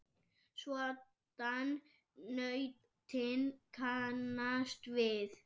svoddan nautin kannast við.